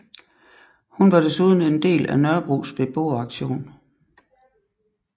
Hun var desuden en del af Nørrebros Beboeraktion